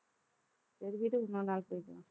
சரி விடு இன்னொரு நாள் போயிக்கலாம்